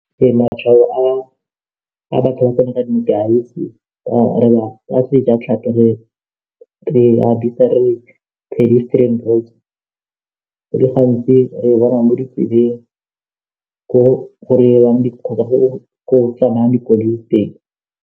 Ee, matshwao a batlang go ntsha ka sejatlhapi re di bitsa re re pedestrian roads go le gantsi re bona mo ditseleng ko go tsenang dikoloi teng.